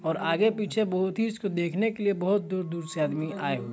--और आगे पीछे बहुत ही इसको देखने क लिए बहुत दूर दूर से आदमी आये हैं।